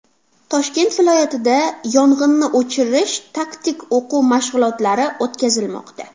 Toshkent viloyatida yong‘inni o‘chirish taktik o‘quv mashg‘ulotlari o‘tkazilmoqda.